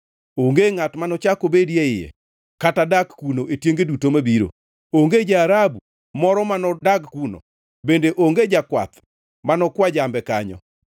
Onge ngʼat manochak obedi e iye kata dak kuno e tienge duto mabiro; onge ja-Arabu moro manodag kuno; bende onge jakwath mano kwa jambe kanyo.